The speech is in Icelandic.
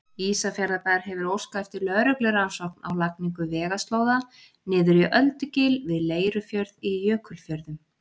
Ísafjarðarbær hefur óskað eftir lögreglurannsókn á lagningu vegaslóða niður í Öldugil við Leirufjörð í Jökulfjörðum.